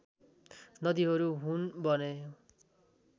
नदीहरू हुन् भने